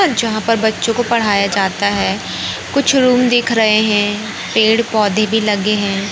जहां पर बच्चों को पढ़ाया जाता है। कुछ रूम दिख रहे हैं। पेड़-पौधे भी लगे हैं।